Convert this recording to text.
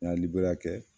N'a liberiya kɛ